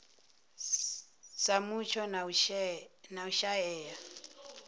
sa mutsho na u shaea